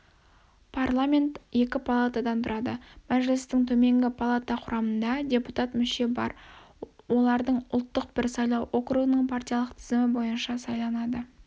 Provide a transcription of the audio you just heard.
парламент екі палатадан тұрады мәжілістің төменгі палата құрамында депутат мүше бар олардың ұлттық бір сайлау округының партиялық тізімі бойынша сайланады